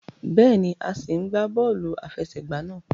Béèni, a sí n gbà bóòlù àfẹsẹ̀gbá náà